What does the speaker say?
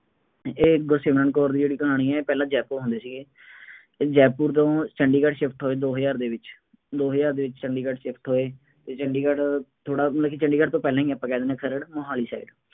ਇਹ ਗੁਰਸਮਿਰਨ ਕੌਰ ਦੀ ਜਿਹੜੀ ਕਹਾਣੀ ਹੈ ਇਹ ਪਹਿਲਾਂ ਜੈਪੁਰ ਹੁੰਦੇ ਸੀਗੇ। ਇਹ ਜੈਪੁਰ ਤੋਂ ਚੰਡੀਗੜ੍ਹ shift ਹੋਏ ਦੋ ਹਜ਼ਾਰ ਦੇ ਵਿੱਚ, ਦੋ ਹਜ਼ਾਰ ਦੇ ਵਿੱਚ ਚੰਡੀਗੜ੍ਹ shift ਹੋਏ ਅਤੇ ਚੰਡੀਗੜ੍ਹ ਥੋੜ੍ਹਾ, ਵੈਸੇ ਚੰਡੀਗੜ੍ਹ ਤੋਂ ਪਹਿਲਾਂ ਹੀ ਆਪਾਂ ਕਹਿ ਦਿੰਦੇ ਹਾਂ, ਖਰੜ ਮੁਹਾਲੀ side